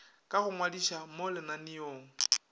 ka go ngwadiša mo lenaneong